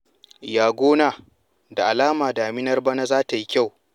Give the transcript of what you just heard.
Ya gona? Da alama daminar bana za ta yi kyau.